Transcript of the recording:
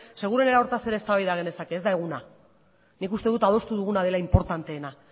seguru hortaz ere eztabaida genezake ez da eguna nik uste dut adostu duguna dela inportanteena